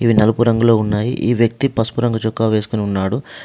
ఇవి నలుపు రంగులో ఉన్నాయి. ఈ వ్యక్తి పసుపు రంగు చొక్కా వేసుకొని ఉన్నాడు.